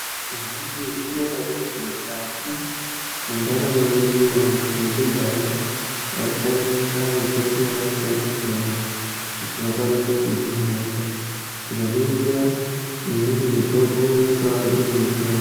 Maizviziya ere kuti mukati, mwendaramo yedu, vantu vekudhaya, vaishandisa mitombo yakasiya-siyana, kuti vakwanise kuhina hosha. Tikaningira, imweni mitombo yaitova iri michero.